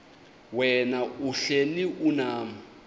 wena uhlel unam